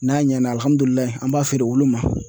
N'a ɲɛna an b'a feere woloma